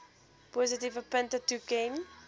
positiewe punte toeken